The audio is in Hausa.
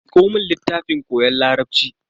Miko mun littafin koyon larabci.